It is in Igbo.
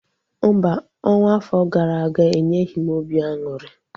Mba, ọnwa afọ gara aga enyeghị m obi aṅụrị